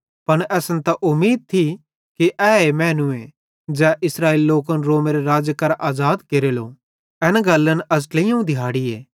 पन असन त उमीद थी कि ए मैनूए ज़ै इस्राएली लोकन रोमेरे राज़्ज़े करां आज़ाद केरेलो एन गल्लन अज़ ट्लेइयोवं दिहाड़ीए